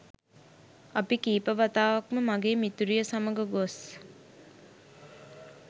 අපි කීප වතාවක්ම මගේ මිතුරිය සමඟ ගොස්